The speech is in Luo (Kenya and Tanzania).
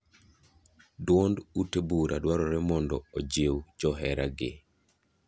Duond ute bura dwarore mondo ojiw johera gi.